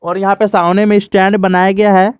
और यहां पे सामने में स्टैंड बनाया गया है।